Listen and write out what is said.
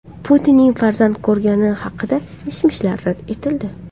Putinning farzand ko‘rgani haqidagi mish-mishlar rad etildi.